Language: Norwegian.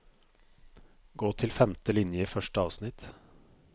Gå til femte linje i første avsnitt